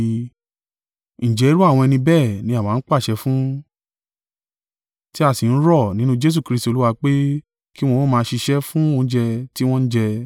Ǹjẹ́ irú àwọn ẹni bẹ́ẹ̀ ni àwa ń pàṣẹ fún, tí a sì ń rọ̀ nínú Jesu Kristi Olúwa pé kí wọn ó máa ṣiṣẹ́ fún oúnjẹ tí wọ́n ń jẹ.